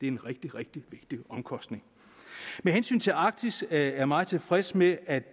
en rigtig rigtig vigtig omkostning med hensyn til arktis er jeg meget tilfreds med at